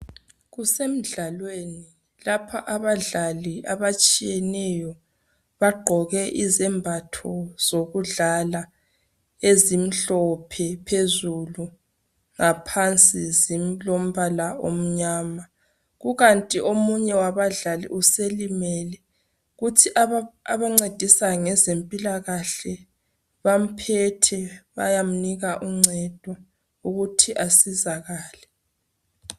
Kusemidlalweni lapha abadlali abatshiyeneyo bagqoke izembatho zokudlala ezimhlophe phezulu ngaphansi zilombala omnyama. Kukanti omunye wabadlali uselimele kuthi abancedisa ngezempilakahle bamphethe bayamnika uncedo ukuthi asizakale.